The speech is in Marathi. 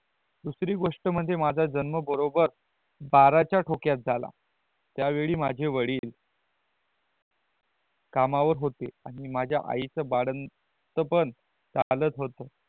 दूसरी गोष्टी म्हणजे माझा जन्म बरोबर बाराच्या ठोक्यात झाला त्या वेळी माझे वडील कामावर होते आणि माझा आईच बाळंतपण झालंच होत